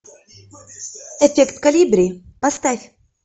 эффект колибри поставь